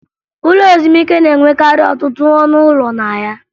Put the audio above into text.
Ụlọ ezumike na-enwekarị ọtụtụ ọnụ ụlọ na ya